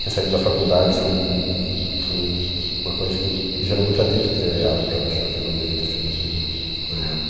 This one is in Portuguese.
Tinha saído da faculdade, isso foi foi uma coisa que gerou muito atrito entre eu e ela, porque ela achou que eu não devia ter feito isso na época.